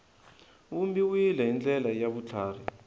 vumbiwile hi ndlela ya vutlhari